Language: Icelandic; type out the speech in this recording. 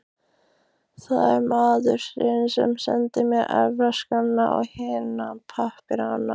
Það var maðurinn sem sendi mér erfðaskrána og hina pappírana.